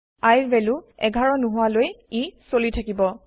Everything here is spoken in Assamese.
I ৰ ভেলু ১১ নহোৱা লৈ ই চলি থাকিব